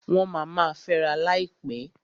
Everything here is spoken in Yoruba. Wọ́n ma ma fęra láìpẹ́.